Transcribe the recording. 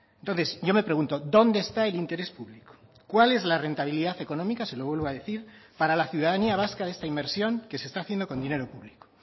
entonces yo me pregunto dónde está el interés público cuál es la rentabilidad económica se lo vuelvo a decir para la ciudadanía vasca de esta inversión que se está haciendo con dinero público